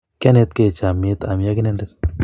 kianet gei chamiet ami ak inyenendet